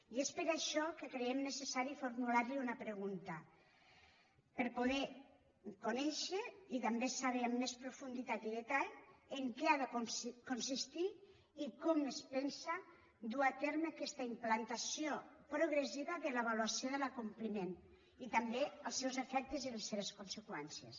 i és per això que creiem necessari formular li una pregunta per poder conèixer i també saber amb més profunditat i detall en què ha de consistir i com es pensa dur a terme aquesta implantació progressiva de l’avaluació de l’acompliment i també els seus efectes i les seves conseqüències